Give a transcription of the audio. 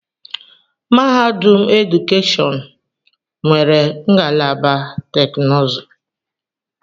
Mahadum edukeshọn nwere ngalaba teknụzụ.